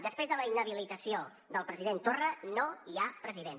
després de la inhabilitació del president torra no hi ha president